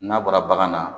N'a bɔra bagan na